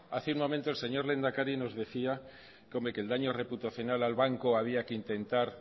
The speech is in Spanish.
hace un momento el señor lehendakari nos decía hombre que el daño reputacional al banco había que intentar